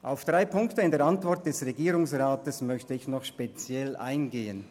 Auf drei Punkte in der Antwort des Regierungsrats möchte ich speziell eingehen.